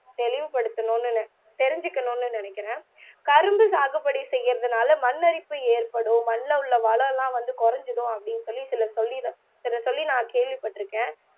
தெளிவுபடுத்தணும்னு தெரிஞ்சிக்கணும்னு நினைக்கிறன் கரும்பு சாது போடி செய்யிற தாள மண்ணரிப்பு ஏட்படும் மண்ல உள்ள வள எல்லாம் வந்து குறைஞ்சிடும் அப்பிடின்னு சொல்லி சிலர் சொல்லி நான் சொல்லி நான் கேள்விப்பட்டிருக்கேன்